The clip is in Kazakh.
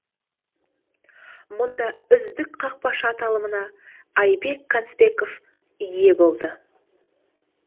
мұнда үздік қақпашы аталымына айбек конспеков ие болды